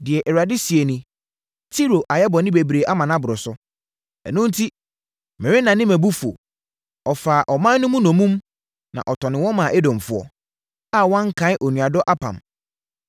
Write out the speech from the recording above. Deɛ Awurade seɛ nie: “Tiro ayɛ bɔne bebree ama no atra so, ɛno enti, merennane mʼabufuo. Ɔfaa ɔman mu no nnommum na ɔtɔnee wɔn maa Edomfoɔ, a wankae onuadɔ apam.